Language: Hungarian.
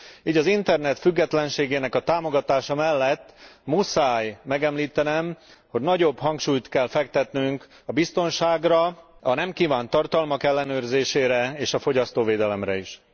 Így az internet függetlenségének a támogatása mellett muszáj megemlítenem, hogy nagyobb hangsúlyt kell fektetnünk a biztonságra, a nem kívánt tartalmak ellenőrzésére és a fogyasztóvédelemre is.